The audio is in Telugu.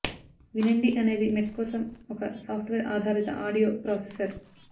వినండి అనేది మెడ్ కోసం ఒక సాఫ్ట్వేర్ ఆధారిత ఆడియో ప్రాసెసర్